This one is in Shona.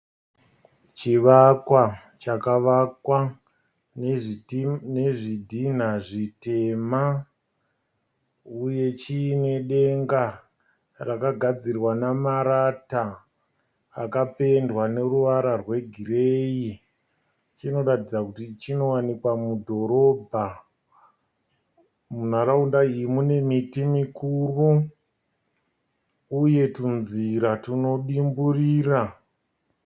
Chivakwa chakavakwa nezvidhinha zvitema uye chiine denga rakagadzirwa namarata akapendewa neruvara wegireyi. Chinotaridza kuti chinowanikwa mudhorobha. Munharaunda iyi mune miti mikuru uye tunzira tunodimburira.